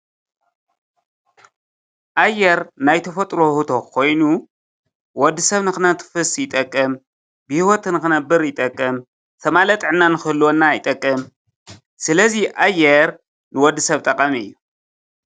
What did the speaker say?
ኣየር ናይ ተፈጥሮ ውህብቶ ኮይኑ ወዲሰብ ንከተንፍስ ይጠቅም፤ ብሂወት ንክነብር ይጠቅም፤ ዝተማልአ ጥዕና ንክህልወና ይጠቅም፣ ስለዚ ኣየር ንወዲሰብ ጠቃሚ እዩ፡፡